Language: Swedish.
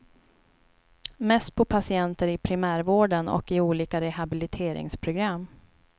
Mest på patienter i primärvården och i olika rehabiliteringsprogram.